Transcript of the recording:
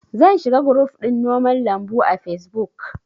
Zan shiga guruf ɗin noman lambu a fesbuk